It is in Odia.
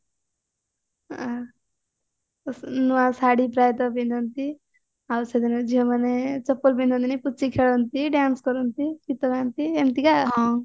ତ ନୂଆ ଶାଢୀ ପ୍ରାୟେ ତ ପିନ୍ଧନ୍ତି ଆଉ ସେଦିନ ଝିଅ ମାନେ ଚପଲ ପିନ୍ଧନ୍ତିନି ପୁଚି ଖେଳନ୍ତି dance କରନ୍ତି ଗୀତ ଗାଆନ୍ତି ଏମତିକା ଆଉ